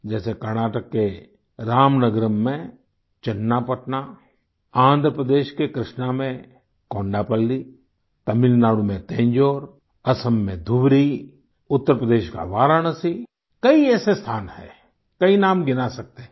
जैसे कर्नाटक के रामनगरम में चन्नापटना आन्ध्र प्रदेश के कृष्णा में कोंडापल्ली तमिलनाडु में तंजौर असम में धुबरी उत्तर प्रदेश का वाराणसी कई ऐसे स्थान हैं कई नाम गिना सकते हैं